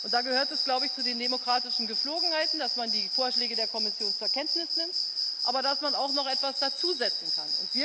Da gehört es, glaube ich, zu den demokratischen Gepflogenheiten, dass man die Vorschläge der Kommission zur Kenntnis nimmt, aber dass man auch noch etwas dazusetzen kann.